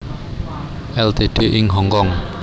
Ltd ing Hongkong